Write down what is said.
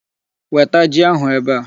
Weta ji ahụ ebe a.